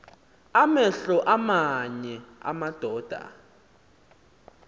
amehlo aamanye amadoda